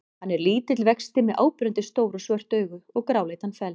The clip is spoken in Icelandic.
Hann er lítill vexti með áberandi stór og svört augu og gráleitan feld.